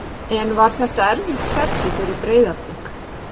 En var þetta erfitt ferli fyrir Breiðablik?